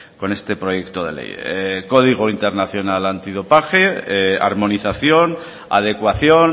con este proyecto de ley código internacional antidopaje armonización adecuación